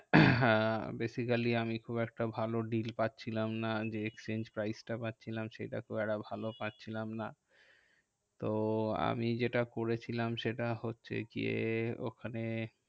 basically আমি খুব একটা ভালো deal পাচ্ছিলাম না যে, exchange price টা পাচ্ছি না সেটা খুব একটা ভালো পাচ্ছিলাম না। তো আমি যেটা করেছিলাম সেটা হচ্ছে গিয়ে ওখানে